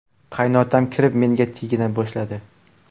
Qaynotam kirib, menga tegina boshladi.